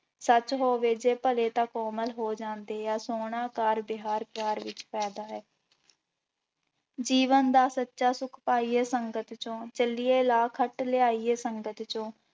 ਸੱਚ ਹੋਵੇ ਜੇ ਭਲੇ ਤਾਂ ਕੋਮਲ ਹੋ ਜਾਂਦੇ ਆ ਸੋਹਣਾ ਕਾਰ ਵਿਹਾਰ ਪਿਆਰ ਵਿੱਚ ਫ਼ਾਇਦਾ ਹੈ ਜੀਵਨ ਦਾ ਸੱਚਾ ਸੁੱਖ ਪਾਈਏ ਸੰਗਤ ਚੋਂ ਚੱਲੀਏ ਲਾਹਾ ਖੱਟ ਲਿਆਈਏ ਸੰਗਤ ਚੋਂ।